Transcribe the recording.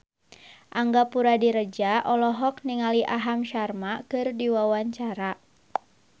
Angga Puradiredja olohok ningali Aham Sharma keur diwawancara